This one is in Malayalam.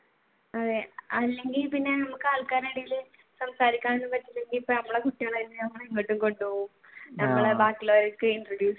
അതെ അല്ലെങ്കിൽ പിന്നെ നമുക്ക് ആൾക്കാരുടെ ഇടയിൽ